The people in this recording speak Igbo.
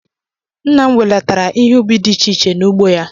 Nna m welatara ihe ubi dị iche iche n'ugbo ya